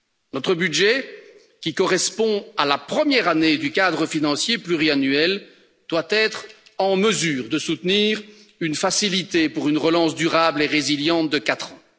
Notre budget, qui correspond à la première année du cadre financier pluriannuel, doit être en mesure de soutenir une facilité pour une relance durable et résiliente de 4 ans.